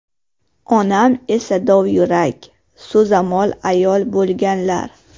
Onam esa dovyurak, so‘zamol ayol bo‘lganlar.